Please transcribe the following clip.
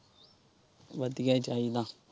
ਵਧੀਆ ਚਾਹੀਦਾ।